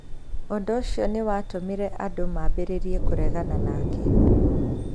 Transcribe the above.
Ũndũ ũcio nĩ watũmire andũ mambĩrĩrie kũregana nake.